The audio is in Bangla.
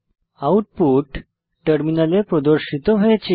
আউটপুট টার্মিনালে প্রদর্শিত হয়েছে